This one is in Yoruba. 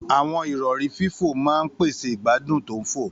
Àwọn ìrọ̀rí fífò máa ń pèsè ìgbádùn tó ń fò.